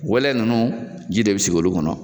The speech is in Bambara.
Wɛlɛ ninnu ji de bɛ sigi olu kɔnɔ